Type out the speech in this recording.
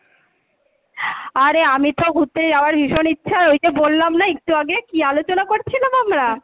আরে আমি তো ঘুরতে যাওয়ার ভীষণ ইচ্ছা এইযে বললাম না একটু আগে কী আলোচনা করছিলাম আমরা?